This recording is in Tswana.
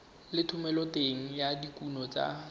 le thomeloteng ya dikuno tsa